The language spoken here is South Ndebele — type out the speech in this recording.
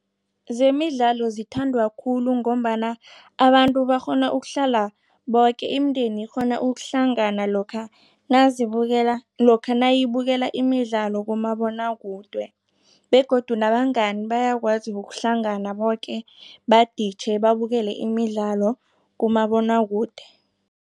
Zemidlalo zithandwa khulu ngombana abantu bakghona ukuhlala boke imindeni ikghona ukuhlangana lokha nazibukela lokha nayibukela imidlalo kumabonwakude begodu nabangani bayakwazi ukuhlangana boke baditjhe babukele imidlalo kumabonwakude.